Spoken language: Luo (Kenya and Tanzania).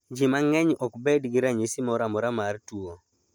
Ji mang�eny ok bed gi ranyisi moro amora mar tuo.